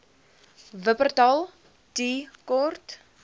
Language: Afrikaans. wupperthal tea court